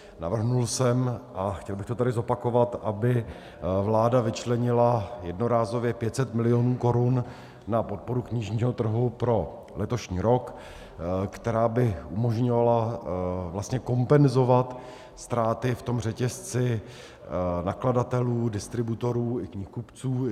Navrhl jsem, a chtěl bych to tady zopakovat, aby vláda vyčlenila jednorázově 500 milionů korun na podporu knižního trhu pro letošní rok, která by umožňovala kompenzovat ztráty v tom řetězci nakladatelů, distributorů i knihkupců.